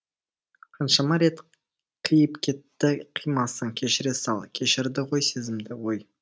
қаншама рет қиып кетті қимасың кешіре сал кешірді ғой сезімді ой